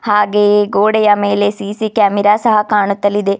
ಹಾಗೆಯೇ ಗೋಡೆಯ ಮೇಲೆ ಸಿ_ಸಿ ಕ್ಯಾಮೆರಾ ಸಹ ಕಾಣುತ್ತಲಿದೆ.